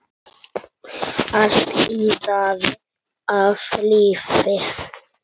Allt iðaði af lífi.